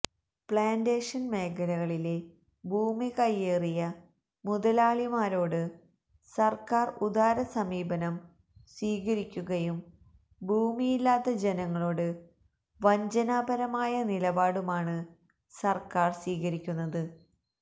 plantation മേഖലകളിലെ ഭൂമി കൈയേറിയ മുതലാളിമാരോട് സർക്കാർ ഉദാര സമീപനം സ്വീകരിക്കുകയും ഭൂമിയില്ലാത്ത ജനങ്ങളോട് വഞ്ചനാപരമായ നിലപാടുമാണ് സർക്കാർ സ്വീകരിക്കുന്നത്